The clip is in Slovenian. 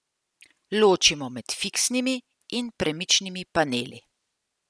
Ločimo med fiksnimi in premičnimi paneli.